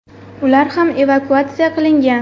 Ular ham evakuatsiya qilingan.